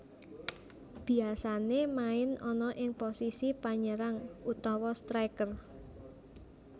Biasané main ana ing posisi Panyérang utawa striker